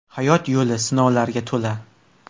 Hayot yo‘li sinovlarga to‘la.